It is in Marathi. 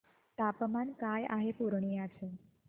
तापमान काय आहे पूर्णिया चे